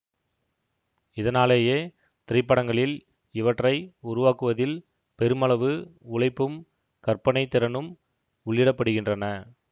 இதனாலேயே திரைப்படங்களில் இவற்றை உருவாக்குவதில் பெருமளவு உழைப்பும் கற்பனைத் திறனும் உள்ளிடப்படுகின்றன